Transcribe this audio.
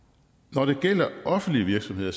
når det gælder offentlige virksomheder